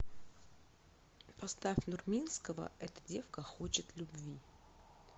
поставь нурминского эта девка хочет любви